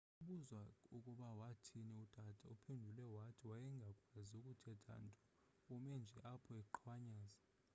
xa ubuzwa ukuba wathini utata uphendule wathi wayengakwazi kuthetha nto ume nje apho eqhwanyaza